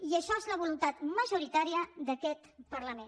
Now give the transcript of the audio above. i això és la voluntat majoritària d’aquest parlament